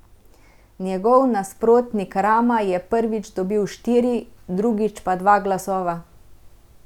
Njegov nasprotnik Rama je prvič dobil štiri, drugič pa dva glasova.